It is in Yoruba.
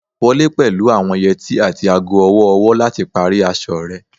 Wọle pẹlu awọn yeti ati aago ọwọ-ọwọ lati pari aṣọ rẹ